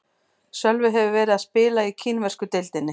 Sölvi hefur verið að spila í kínversku deildinni.